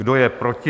Kdo je proti?